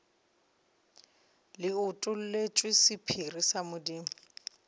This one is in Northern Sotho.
le utolletšwe sephiri sa modimo